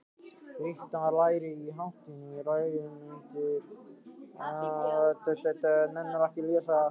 Sigvaldi, lækkaðu í hátalaranum.